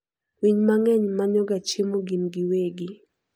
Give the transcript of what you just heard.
Winy mang'eny manyoga chiemo gin giwegi.